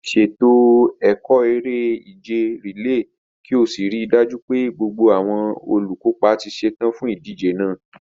Ṣètò ẹ̀kọ́ eré-ìje rìléè kí o sì rí i dájú pé gbogbo àwọn olùkópa ti ṣetán fún ìdíje náà.